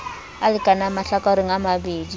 a lekanang mahlakoreng a mabedi